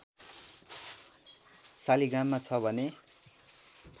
शालिग्राममा छ भने